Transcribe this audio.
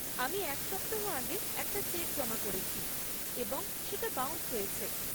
আমি এক সপ্তাহ আগে একটা চেক জমা করেছি এবং সেটা বাউন্স হয়েছে।